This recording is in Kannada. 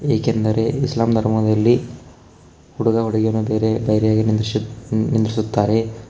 ಏಕೆಂದರೆ ಇಸ್ಲಾಂ ಧರ್ಮದಲ್ಲಿ ಹುಡುಗ ಹುಡುಗಿಯನ್ನು ಬೇರೆ ಬೇರೆ ನಿಲ್ಲಿಸುತ್ತ್ - ನಿಲ್ಲಿಸುತ್ತಾರೆ.